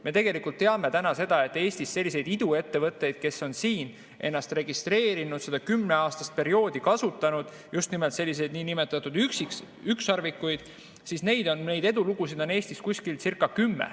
Me tegelikult teame, et Eestis selliseid iduettevõtteid, kes on siin ennast registreerinud ja seda kümneaastast perioodi kasutanud – just nimelt selliseid nn ükssarvikuid –, neid edulugusid on Eestis circa kümme.